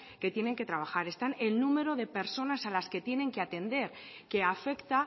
que tiene que trabajar están el número de personas a las que tienen que atender que afecta